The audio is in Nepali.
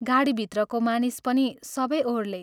गाडीभित्रको मानिस पनि सबै ओह्रले।